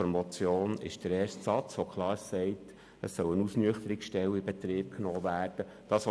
Die Forderung der Motion entspricht dem ersten Satz, worin klar steht, dass eine Ausnüchterungsstelle in Betrieb genommen werden soll.